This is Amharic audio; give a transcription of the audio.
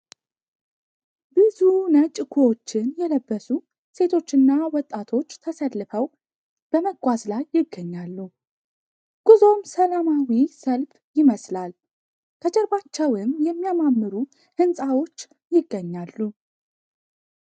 ብዙ ነጭ ኩዎችን የለበሱ ሴቶችና ወጣቶች ተሰልፈው በመጓዝ ላይ ይገኛሉ ። ጉዞም ሰላማዊ ሰልፍ ይመስላል ። ከጀርባቸውም የሚያማምሩ ህንፃዎች ይገኛሉ ።